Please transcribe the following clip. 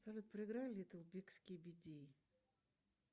салют проиграй литл биг скибиди